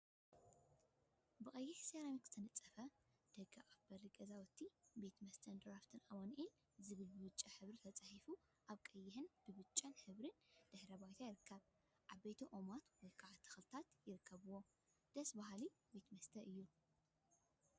ብቀይሕ ሰራሚክ ዝተነጸፈ ደገ ኣፍ በሪ ገዛውቲ ቤት መስተን ድራፍትን ኣማኒኣኤል ዝብል ብብጫ ሕብሪ ተጻሒፉ ኣብ ቀይሕን ብጫን ሕብሪ ድሕረ ባይታ ይርከብ። ዓበይቲ ኦማት ወይ ከዓ ተክሊታት ይርከብዎም። ደስ በሃሊ መስተ ቤት እዩ።